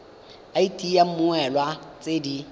id ya mmoelwa tse di